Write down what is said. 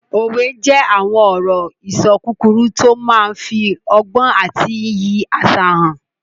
Òwe jẹ́ àwọn ọ̀rọ̀-ìṣọ kúkúrú tó máa n fi ọgbọ́n àti iyì àṣà hàn